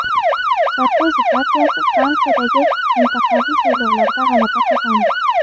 Sarkozi partiyasi Fransiyadagi mintaqaviy saylovlarda g‘alaba qozondi.